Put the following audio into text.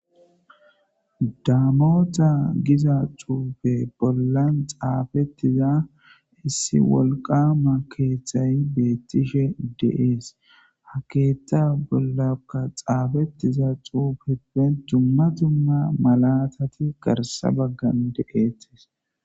daamota giza cuube bollan xaafettiza issi wolqama keeththay beettishe dee'es ha keeta bollaka xaafettiza xuubippen dumma dumma malatati garsa baggan dee'ettis